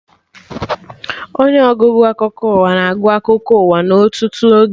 Onye ọgụgụ akụkọ ụwa na-agụ akụkọ ụwa na ọtụtụ oge